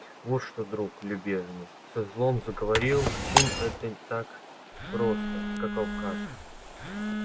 вот что друг любезный со злом заговорил тим это так просто как вам кажется